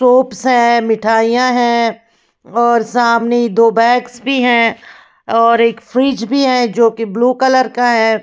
Soaps हैं मिठाइयाँ हैं और सामने दो बैग्स भी हैं और एक फ्रिज भी है जो कि ब्लू कलर का है।